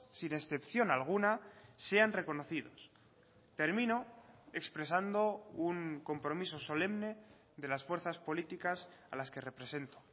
sin excepción alguna sean reconocidos termino expresando un compromiso solemne de las fuerzas políticas a las que represento